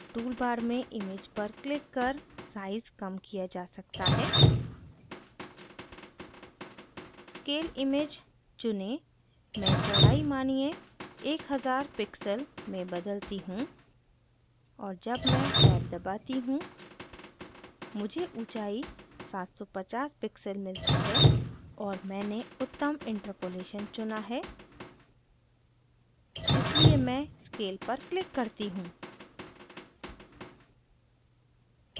tool bar में image पर click कर साइज़ कम किया जा सकता है scale image scale image चुनें मैं चौड़ाई मानिये1000 pixel में बदलती हूँ और जब मैं टॅब दबाती हूँ मुझे ऊंचाई 750 pixel मिलती है और मैंने उत्तम interpolation चुना है इसलिए मैं scale scale पर click करती हूँ